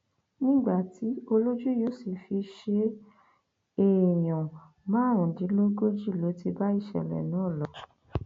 nígbà tí olójú yóò sì fi ṣe é èèyàn márùndínlógójì ló ti bá ìṣẹlẹ náà lọ